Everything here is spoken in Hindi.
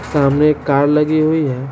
सामने एक कार लगी हुई है।